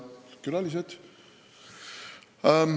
Head külalised!